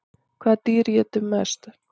Hvaða dýr étur mest?